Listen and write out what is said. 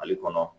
Mali kɔnɔ